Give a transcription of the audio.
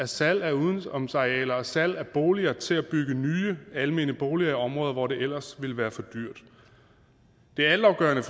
salg af udenomsarealer og salg af boliger til at bygge nye almene boliger i områder hvor det ellers ville være for dyrt det er altafgørende